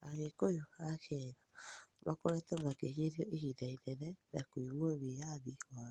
Agĩkũyũ a Kenya makoretwo makĩhínyĩrĩrĩo ĩhĩnda ĩnene na kũĩmwo wĩathĩ wao